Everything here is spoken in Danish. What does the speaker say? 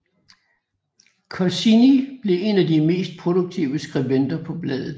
Goscinny blev en af de mest produktive skribenter til bladet